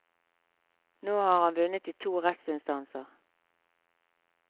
Nå har han vunnet i to rettsinstanser.